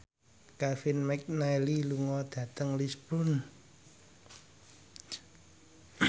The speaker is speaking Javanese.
Kevin McNally lunga dhateng Lisburn